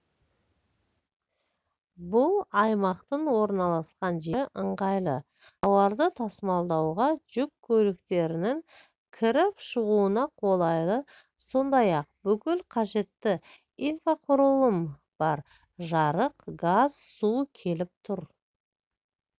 бұл аймақтың орналасқан жері ыңғайлы тауарды тасымалдауға жүк көліктерінің кіріп-шығуына қолайлы сондай-ақ бүкіл қажетті инфрақұрылым бар жарық газ су келіп тұр